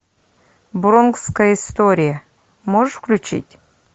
бронкская история можешь включить